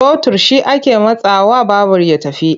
Totur shi ake matsawa babur ya tafi.